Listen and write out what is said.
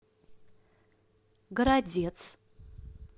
городец